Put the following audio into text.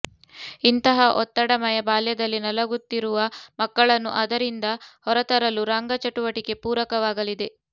ಇಂತಹ ಒತ್ತಡಮಯ ಬಾಲ್ಯದಲ್ಲಿ ನಲಗುತ್ತಿರುವ ಮಕ್ಕಳನ್ನು ಅದರಿಂದ ಹೊರತರಲು ರಂಗ ಚಟುವಟಿಕೆ ಪೂರಕ ವಾಗಲಿದೆ